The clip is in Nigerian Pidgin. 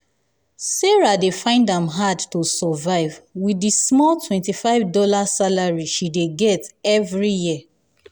sarah sarah dey find am hard to survive with di small 25 dollar salary she dey get every year.